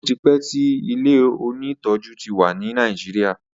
otipe tí ilẹ òní tọjú tí wá ní Nàìjíríà.